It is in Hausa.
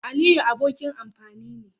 Aliyu abokin amfani ne.